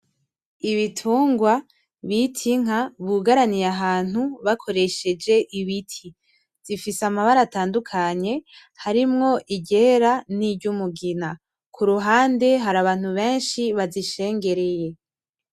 Ibitungwa bita inka bugaraniye ahantu bakoresheje ibiti. Zifise amabara atandukanye harimwo iryera niry’umugina, kuruhande hari abantu benshi bazishengereye.